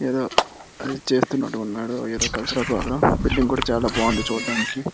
ఏదో అది చేస్తున్నట్టు ఉన్నాడు ఏదో కల్చరల్ ప్రోగ్రాం బిల్డింగ్ కూడా చాలా బాగుంది చూడడానికి.